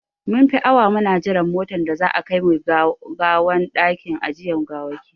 Mun fi awa muna jiran motan da za a a kai gawan dakin ajiyan gawaki.